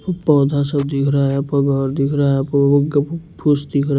पौधा सब दिख रहा है घर दिख रहा है फूस दिख रहा है।